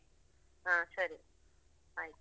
ಹ ಸರಿ ಆಯ್ತು.